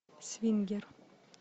свингер